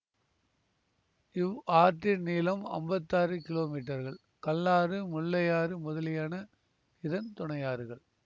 இவ் ஆற்றின் நீளம் அம்பத்தி ஆறு கிலோமீட்டர்கள் கல்லாறு முல்லையாறு முதலியன இதன் துணையாறுகள்